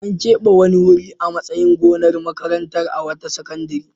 An keɓe wani wuri a matsayin gonar makaranta a wata sakandare.